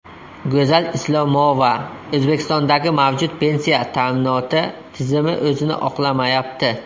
Go‘zal Islomova: O‘zbekistondagi mavjud pensiya ta’minoti tizimi o‘zini oqlamayapti.